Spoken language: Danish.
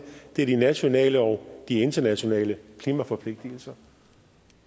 det er de nationale og de internationale klimaforpligtelser